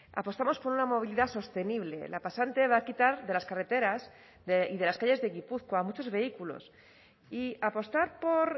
apostamos por una movilidad sostenible la pasante va a quitar de las carreteras y de las calles de gipuzkoa muchos vehículos y apostar por